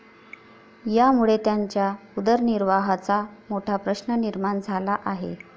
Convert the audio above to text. यामुळे त्यांच्या उदरनिर्वाहाचा मोठा प्रश्न निर्माण झाला आहे.